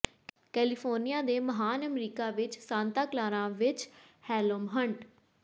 California ਦੇ ਮਹਾਨ America ਵਿੱਚ ਸਾਂਤਾ ਕਲਾਰਾ ਵਿੱਚ ਹੈਲੋਮ ਹੰਟ